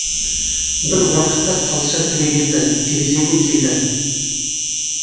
бір уақытта тазша түрегелді терезеге келді